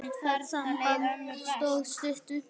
Það samband stóð stutt.